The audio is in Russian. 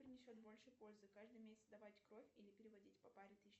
принесет больше пользы каждый месяц сдавать кровь или переводить по паре тысяч